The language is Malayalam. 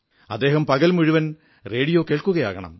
അദ്ദേഹം പകൽ മുഴുവൻ റേഡിയോ കേൾക്കുകയാകണം